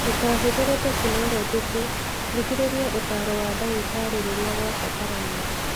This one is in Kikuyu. Ndũkaahũthĩre tekinolonjĩ tu; thikĩrĩria ũtaaro wa ndagĩtarĩ rĩrĩa kwabatarania.